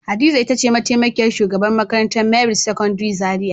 Hadiza ita ce mataimakiyar shugabar makarantar merit secondary zaria.